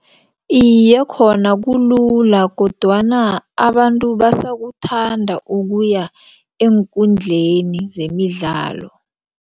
Iye, khona kulula kodwana abantu basakuthanda ukuya eenkundleni zemidlalo.